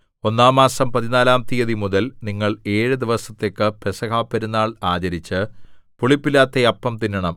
ഒന്നാം മാസം പതിനാലാം തീയതിമുതൽ നിങ്ങൾ ഏഴു ദിവസത്തേക്ക് പെസഹപെരുനാൾ ആചരിച്ച് പുളിപ്പില്ലാത്ത അപ്പം തിന്നണം